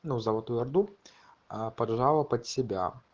ну золотую орду поджало под себя